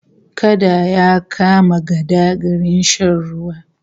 Kada ya kama gada garin shan ruwa